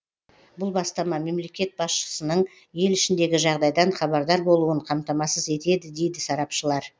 бұл бастама мемлекет басшысының ел ішіндегі жағдайдан хабардар болуын қамтамасыз етеді дейді сарапшылар